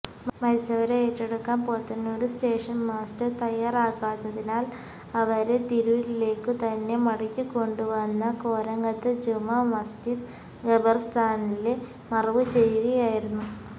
മരിച്ചവരെ ഏറ്റെടുക്കാന് Podanur station master തയ്യാറാകാത്തതിനാല് അവരെ തിരൂരിലേക്കു തന്നെ മടക്കിക്കൊണ്ടുവന്ന കോരങ്ങത്തു ജുമാ മസ്ജിദ് ഖബര്സ്ഥാനില് മറവുചെയ്യുകയായിരുന്നു